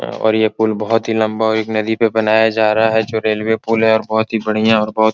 और ये पुल बहुत ही लंबा और एक नदी पे बनाया जा रहा है जो रेलवे पुल है और बहुत ही बढ़िया और बहुत --